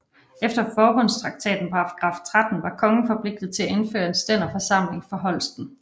Efter forbundstraktatens paragraf 13 var kongen forpligtet til at indføre en stænderforsamling for Holsten